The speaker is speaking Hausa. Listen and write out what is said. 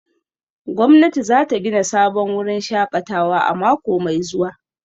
Gwamnati za ta gina sabon wurin shakatawa a mako mai zuwa